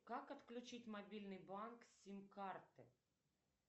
как отключить мобильный банк с сим карты